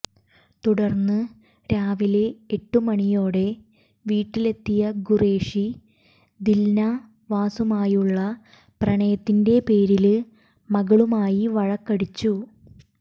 തുടര്ന്ന് രാവിലെ എട്ടു മണിയോടെ വീട്ടിലെത്തിയ ഖുറേഷി ദില്നാവാസുമായുള്ള പ്രണയത്തിന്റെ പേരില് മകളുമായി വഴക്കടിച്ചു